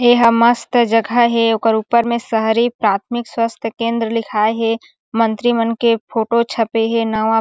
एहा मस्त जगह हे ओकर ऊपर में शहरी प्राथमिक स्वास्थय केंद्र लिखाए हे मंत्रीमन के फोटो छपे हे नवा--